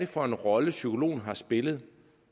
for en rolle psykologen har spillet